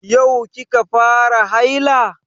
Yau ki ka fara haila?